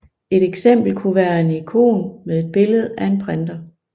Et eksempel kunne være en ikon med et billede af en printer